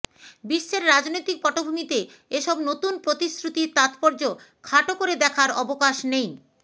বিশ্বের রাজনৈতিক পটভূমিতে এসব নতুন প্রতিশ্রুতির তাৎপর্য খাটো করে দেখার অবকাশ নেই